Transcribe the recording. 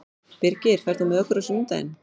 Birgir, ferð þú með okkur á sunnudaginn?